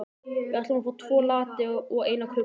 Við ætlum að fá tvo latte og eina kökusneið.